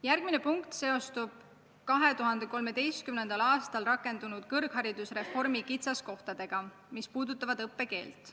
Järgmine punkt seostub 2013. aastal rakendunud kõrgharidusreformi kitsaskohtadega, mis puudutavad õppekeelt.